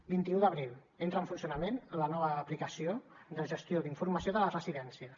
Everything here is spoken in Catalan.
vint un d’abril entra en funcionament la nova aplicació de gestió d’informació de les residències